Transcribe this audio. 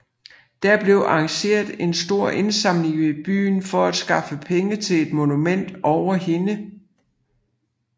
Der blev arrangeret en stor indsamling i byen for at skaffe penge til et monument over hende